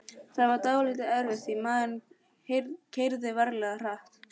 Það var dálítið erfitt því maðurinn keyrði ferlega hratt.